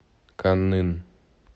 каннын